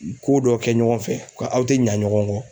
Ko dɔ kɛ ɲɔgɔn fɛ ko aw tɛ ɲa ɲɔgɔn kɔ.